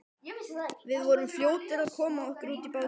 Við vorum fljótir að koma okkur út í bátinn.